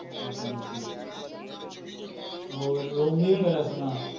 ਹੋਰ, ਰੋਮੀ